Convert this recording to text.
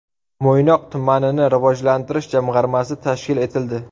Mo‘ynoq tumanini rivojlantirish jamg‘armasi tashkil etildi.